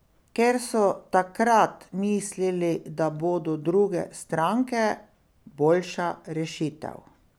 Ker so takrat mislili, da bodo druge stranke boljša rešitev.